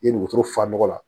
I ye ni wotoro fa nɔgɔ la